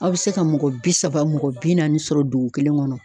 Aw be se ka mɔgɔ bi saba, mɔgɔ bi naani sɔrɔ duku kelen kɔnɔ.